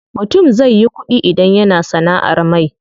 Mutum zai yi ƙuɗi idan yana sanaʼar mai.